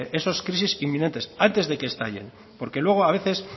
esas crisis inminente antes de que estallen porque luego a veces